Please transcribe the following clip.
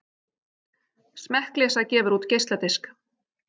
Smekkleysa gefur út geisladisk